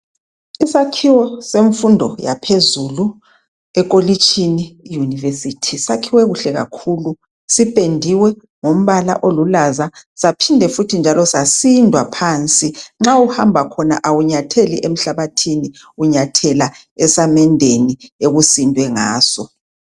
Isakhiwo semfundo yaphezulu ekolitshini i yunivesithi sakhiwe kuhle kakhulu sipendiwe ngombala olulaza saphinda futhi njalo sasindwa phansi. Ma uhamba khona awunyatheli emhlabathini unyathela esamendeni okusindwe ngaso.